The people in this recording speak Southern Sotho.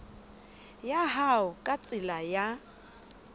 ya hao ka tsela ya